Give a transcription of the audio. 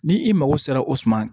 Ni i mago sera o suma ma